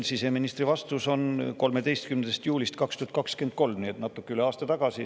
Siseministri vastus on pärit 13. juulist 2023, nii et see oli natuke üle aasta tagasi.